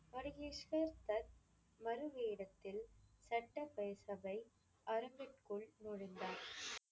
பதுகேஸ்வர் தத் மறு வேடத்தில் சட்டசபை அரங்கிற்குள் நுழைந்தார்.